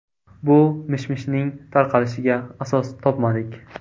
Bu mish-mishning tarqalishiga asos topmadik.